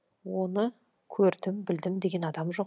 оны көрдім білдім деген адам жоқ